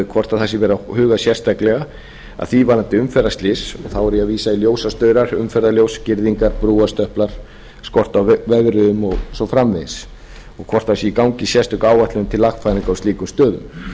hvort það sé verið að huga sérstaklega að því varðandi umferðarslys og þá er ég að vísa í ljósastaura umferðarljósa girðingar brúarstöpla skort á vegriðum og svo framvegis og hvort það sé í gangi sérstök áætlun til lagfæringar á slíkum stöðum